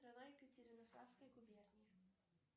екатеринославской губернии